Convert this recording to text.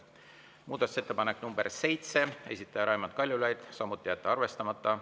Muudatusettepanek nr 7, esitaja Raimond Kaljulaid, samuti jätta arvestamata.